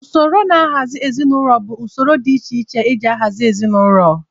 Usoro nhazị ezinaụlọ bụ usoro dị iche iche e ji ahazị ezinaụlọ.